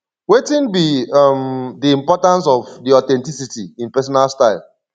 wetin be um di importance of di authenticity in personal style